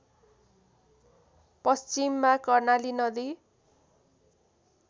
पश्चिममा कर्णाली नदी